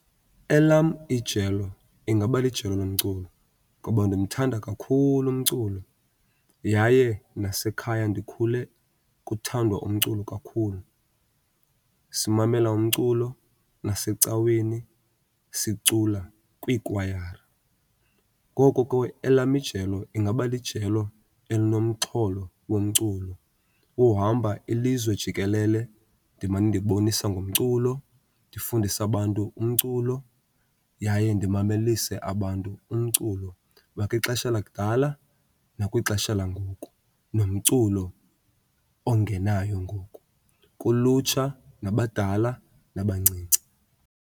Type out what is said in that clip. Elam ijelo ingaba lijelo lomculo ngoba ndimthanda kakhulu umculo yaye nasekhaya ndikhule kuthandwa umculo kakhulu, simamela umculo nasecaweni sicula kwiikwayara. Ngoko ke elam ijelo ingaba lijelo elinomxholo womculo. Uhamba ilizwe jikelele ndimane ndibonisa ngomculo, ndifundise abantu umculo yaye ndimamelise abantu umculo wakwixesha lakudala nakwixesha langoku, nomculo ongenayo ngoku kulutsha, nabadala, nabancinci.